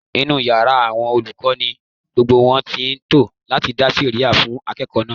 Inú yàrá àwọn olùkọ́ ni gbogbo wọn ti ń tò láti dá sẹ̀rẹ́ha fún akẹ́kọ̀ọ́ náà